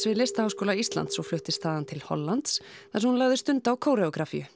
við Listaháskóla Íslands og fluttist þaðan til Hollands þar sem hún lagði stund á